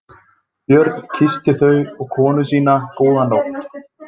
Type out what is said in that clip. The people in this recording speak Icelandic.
Björn kyssti þau og konu sína góða nótt.